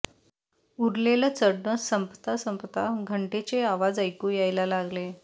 उरलेलं चढण संपता संपता घंटेचे आवाज ऐकू यायला लागले